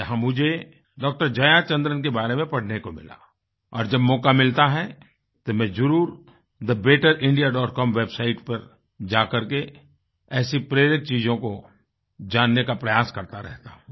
जहाँ मुझे डॉ जयाचंद्रन के बारे में पढ़ने को मिला और जब मौका मिलता है तो मैं जरुर thebetterindiacomwebsite पर जाकर के ऐसी प्रेरित चीजों को जानने का प्रयास करता रहता हूँ